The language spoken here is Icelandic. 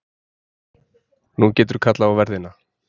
Nú geturðu kallað á verðina.